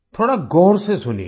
थोड़ा गौर से सुनिएगा